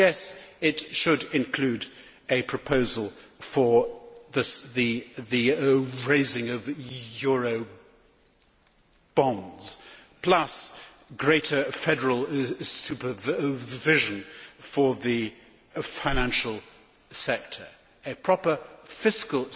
And, yes, it should include a proposal for the raising of Eurobonds, plus greater federal supervision for the financial sector and a proper fiscal